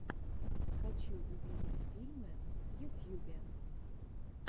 хочу увидеть фильмы в ютьюбе